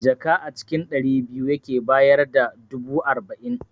Jaka a cikin ɗari biyu yake bayar da dubu arba'in